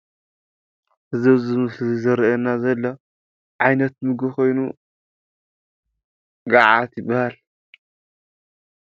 እዚ አብዚ ምስሊ ዘሪኢና ዘሎ ዓይነት ምግቢ ኮይኑ ገዓት ይበሃል፡፡